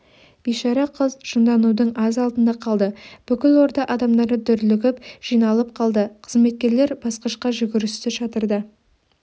бишара қыз жынданудың аз алдында қалды бүкіл орда адамдары дүрлігіп жиналып қалды қызметкерлер басқышқа жүгірісті шатырда